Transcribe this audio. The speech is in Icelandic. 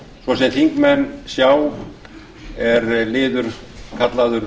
svo sem þingmenn sjá er liður kallaður